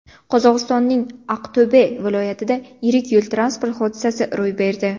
Qozog‘istonning Aqto‘be viloyatida yirik yo‘l-transport hodisasi ro‘y berdi.